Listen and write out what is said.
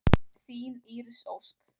Þín Íris Ósk.